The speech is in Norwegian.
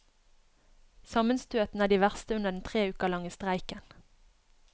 Sammenstøtene er de verste under den tre uker lange streiken.